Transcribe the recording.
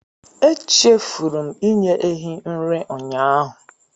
Echefuru m inye ehi nri ụnyaahụ